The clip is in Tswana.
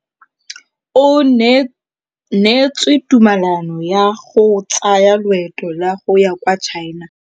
O neetswe tumalanô ya go tsaya loetô la go ya kwa China.